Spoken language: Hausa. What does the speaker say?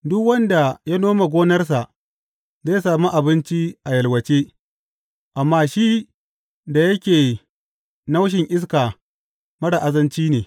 Duk wanda ya nome gonarsa zai sami abinci a yalwace, amma shi da yake naushin iska marar azanci ne.